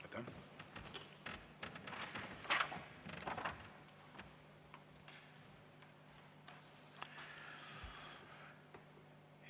Aitäh!